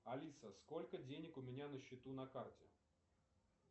алиса сколько денег у меня на счету на карте